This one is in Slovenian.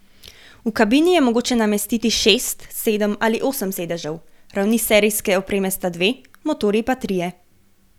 V kabini je mogoče namestiti šest, sedem ali osem sedežev, ravni serijske opreme sta dve, motorji pa trije.